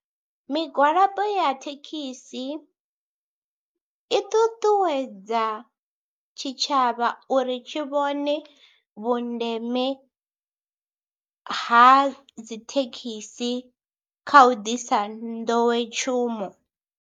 Migwalabo ya thekhisi i ṱuṱuwedza tshitshavha uri tshi vhone vhundeme ha dzithekhisi kha u ḓisa nḓowetshumo.